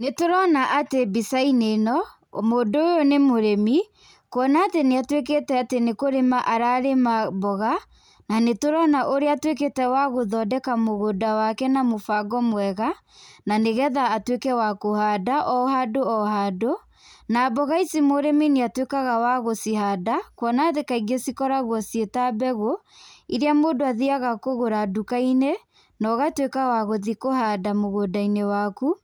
Nĩ tũrona atĩ mbica-inĩ ĩno nĩ tũrona atĩ mũndũ ũyũ nĩ mũrĩmi, kwona atĩ nĩ atuĩkĩte atĩ nĩ kũrĩma ararĩma mboga, na nĩtũrona ũrĩa atuĩkĩte wa gũthondeka mũgũnda wake na mũbango mwega na nĩgetha atuĩke wa kũhanda o handũ , o handũ. Na mboga ici mũrĩmi nĩ atuĩkaga wa gũcihanda kwona atĩ kaingĩ cikoragwo ciĩtambegũ iria mũndũ athiaga kũgũra duka-inĩ no gatuĩka wa gũthiĩ kũhanda mũgũnda-inĩ waku